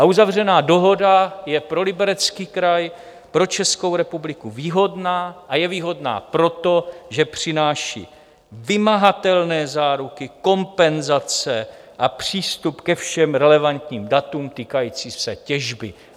A uzavřená dohoda je pro Liberecký kraj, pro Českou republiku výhodná, a je výhodná proto, že přináší vymahatelné záruky, kompenzace a přístup ke všem relevantním datům týkajícím se těžby.